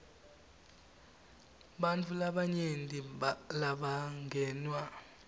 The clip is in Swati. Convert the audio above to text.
bantfu labanyenti labangenwa